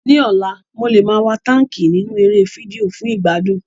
Ní ọ̀la, mo lè máa wa táńkì nínú eré fídíò fún ìgbádùn.